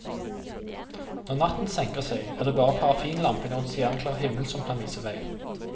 Når natten senker seg, er det bare parafinlampene og en stjerneklar himmel som kan vise vei.